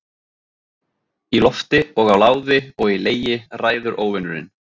Í lofti og á láði og í legi ræður Óvinurinn.